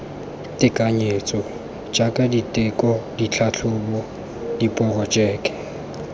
tekanyetso jaaka diteko ditlhatlhobo diporojeke